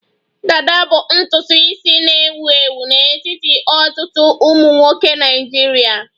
Dada bụ ntutu isi na-ewu ewu n'etiti ọtụtụ ụmụ nwoke Naịjirịa